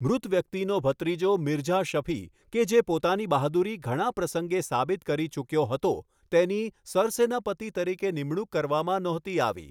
મૃત વ્યક્તિનો ભત્રીજો, મિર્ઝા શફી, કે જે પોતાની બહાદુરી ઘણા પ્રસંગે સાબિત કરી ચૂક્યો હતો, તેની સરસેનાપતિ તરીકે નિમણૂક કરવામાં નહોતી આવી.